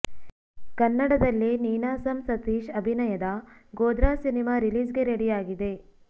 ಕನ್ನಡದಲ್ಲಿ ನೀನಾಸಂ ಸತೀಶ್ ಅಭಿನಯದ Godhra cinema release ಗೆ ರೆಡಿಯಾಗಿದೆ